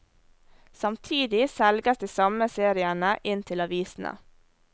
Samtidig selges de samme seriene inn til avisene.